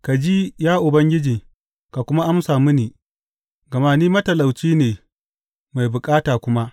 Ka ji, ya Ubangiji, ka kuma amsa mini, gama ni matalauci ne mai bukata kuma.